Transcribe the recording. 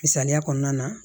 Misaliya kɔnɔna na